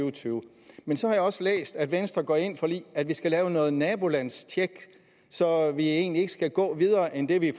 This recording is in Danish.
og tyve men så har jeg også læst at venstre går ind for at vi skal lave noget nabolandstjek så vi egentlig ikke skal gå videre end det vi i